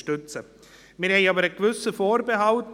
Wir haben aber einen gewissen Vorbehalt.